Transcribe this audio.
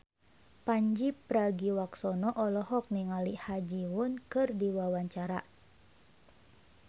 Pandji Pragiwaksono olohok ningali Ha Ji Won keur diwawancara